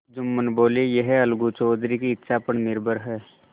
जुम्मन बोलेयह अलगू चौधरी की इच्छा पर निर्भर है